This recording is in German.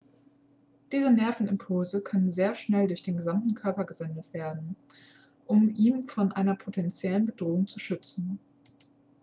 diese nervenimpulse können sehr schnell durch den gesamten körper gesendet werden um ihn vor einer potenziellen bedrohung zu schützen